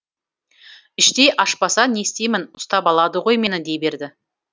іштей ашпаса не істеймін ұстап алады ғой мені дей берді